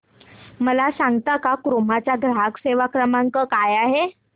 मला सांगता का क्रोमा चा ग्राहक सेवा क्रमांक काय आहे